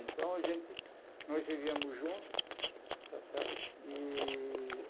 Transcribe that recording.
Então a gente, nós vivíamos junto, tá certo? E